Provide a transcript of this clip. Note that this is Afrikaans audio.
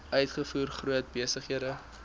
uitvoer groot besighede